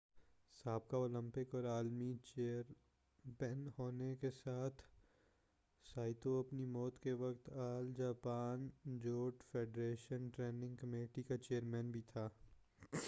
سابقہ اولمپک اور عالمی چیمپئن ہونے کے ساتھ سائتو اپنی موت کے وقت All Japan judo federation training committee کا چیئرمین بھی تھا